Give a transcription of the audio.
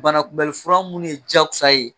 Banakunbɛli fura munnu ye jakosa ye